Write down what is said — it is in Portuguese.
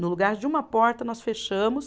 No lugar de uma porta, nós fechamos.